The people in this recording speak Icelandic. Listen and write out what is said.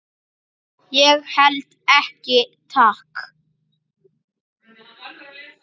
Ég held ekki, takk.